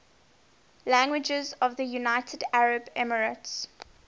languages of the united arab emirates